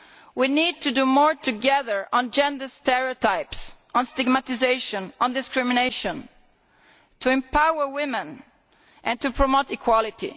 We need to do more together on gender stereotypes, on stigmatisation, on discrimination, to empower women and to promote equality.